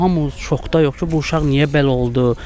Hamı şokdadır ki, bu uşaq niyə belə oldu?